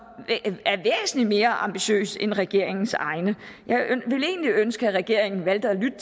er væsentlig mere ambitiøs end regeringens egen jeg ville egentlig ønske at regeringen valgte at lytte